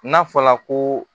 N'a fɔla ko